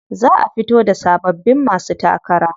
Za a fito da sababbin masu takara.